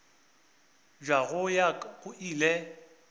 bja go ya go ile